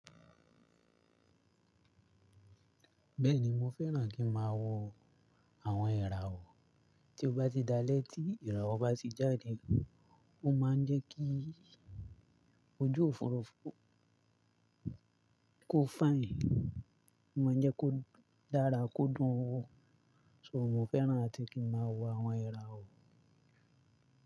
Bẹ́ẹ̀ni mo fẹ́ràn kí n máa wọ àwọn irawo tí ó bá ti di alẹ́ tí irawo bá ti jáde. Ó máa ń jẹ́ kí ojú òfurufú kó fine, ó máa ń jẹ́ kó dára kó dùn wó. So mo fẹ́ràn àti kí n máa wo àwọn irawo.